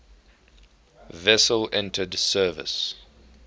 vessel entered service